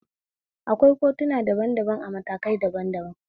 Akwai kotuna daban daban a matakai daban daban